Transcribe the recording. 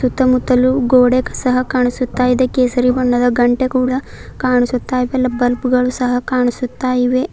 ಸುತ್ತಮುತ್ತಲು ಗೋಡೆ ಸಹ ಕಾಣಿಸುತ್ತಾ ಇದೆ ಕೇಸರಿ ಬಣ್ಣದ ಘಂಟೆ ಕೂಡ ಕಾಣಿಸುತ್ತ ಇವೆಲ್ಲ ಬಲ್ಪ್ ಳು ಸಹ ಕಾಣಿಸುತ್ತಾ ಇವೆ.